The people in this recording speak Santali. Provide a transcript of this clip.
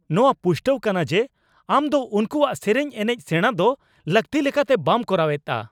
ᱱᱚᱶᱟ ᱯᱩᱥᱴᱟᱹᱜ ᱠᱟᱱᱟ ᱡᱮ ᱟᱢ ᱫᱚ ᱩᱱᱠᱩᱣᱟᱜ ᱥᱮᱨᱮᱧ, ᱮᱱᱮᱪ ᱥᱮᱸᱲᱟ ᱫᱚ ᱞᱟᱹᱠᱛᱤ ᱞᱮᱠᱟᱛᱮ ᱵᱟᱢ ᱠᱚᱨᱟᱣᱮᱫᱼᱟ ᱾